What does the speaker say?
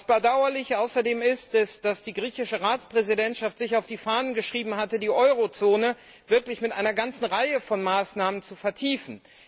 Bedauerlich ist außerdem, dass die griechische Ratspräsidentschaft sich auf die Fahnen geschrieben hatte, die Euro Zone mit einer ganzen Reihe von Maßnahmen zu vertiefen.